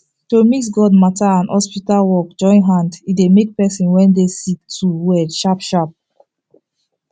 to mix god matter and hospital work join hand e dey make person when dey sick to well sharp sharp